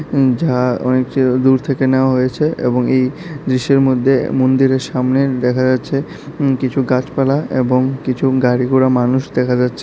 ইম যা অনেকটি দূর থেকে নেওয়া হয়েছে এবং এই দৃশ্যের মদ্যে মন্দিরের সামনের দেখা যাচ্ছে কিছু গাছপালা এবং কিছু গাড়ি ঘোড়া মানুষ দেখা যাচ্ছে।